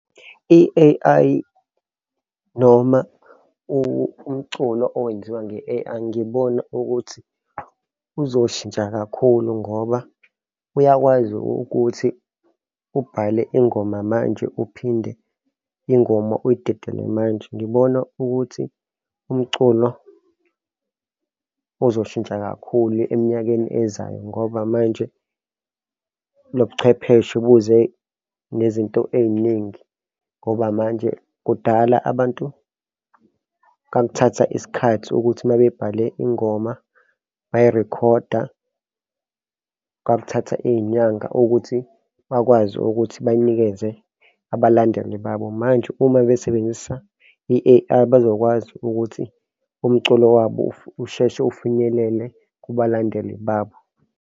I-A_I, noma umculo owenziwa nge-A_I ngiboni ukuthi uzoshintsha kakhulu ngoba uyakwazi ukuthi ubhale ingoma manje uphinde ingoma uyidedele manje. Ngibona ukuthi umculo uzoshintsha kakhulu eminyakeni ezayo ngoba manje lo buchwepheshe buze nezinto ey'ningi ngoba manje kudala abantu kwakuthatha isikhathi ukuthi uma bebhale ingoma bayirikhoda, kwakuthatha iy'nyanga ukuthi bakwazi ukuthi banikeze abalandeli babo. Manje uma besebenzisa i-A_I bazokwazi ukuthi umculo wabo usheshe ufinyelele kubalandeli babo.